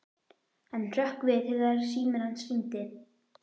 Hann hrökk við þegar síminn hans hringdi.